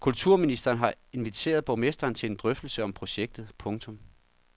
Kulturministeren har inviteret borgmesteren til en drøftelse om projektet. punktum